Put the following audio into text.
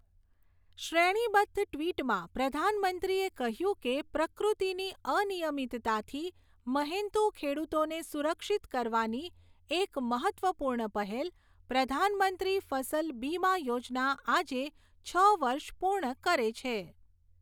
શ્રેણીબદ્ધ ટિ્વટમાં પ્રધાનમંત્રીએ કહ્યું કે પ્રકૃતિની અનિયમિતતાથી મહેનતુ ખેડૂતોને સુરક્ષિત કરવાની એક મહત્ત્વપૂર્ણ પહેલ, પ્રધાનમંત્રી ફસલ બીમા યોજના આજે છ વર્ષ પૂર્ણ કરે છે.